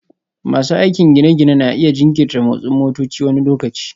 Masu aikin gine-ginen na iya jinkirta motsin motoci wani lokaci